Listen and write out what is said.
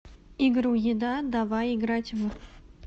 игру еда давай играть в